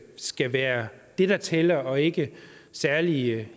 skal være det der tæller og ikke særlige